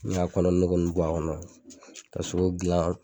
Ne y'a kɔnɔ nogo nun bɔ a kɔnɔ k'a sogo gilan